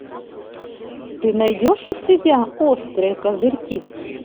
ты найдешь у себя острые козырьки